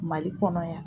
Mali kɔnɔ yan